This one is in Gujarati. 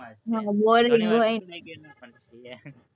boaring હોય,